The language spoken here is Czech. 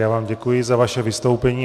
Já vám děkuji za vaše vystoupení.